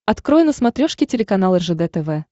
открой на смотрешке телеканал ржд тв